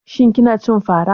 Shin kina cin fara?